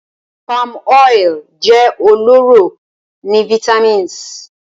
Palmoil jẹ ọlọrọ ni vitamis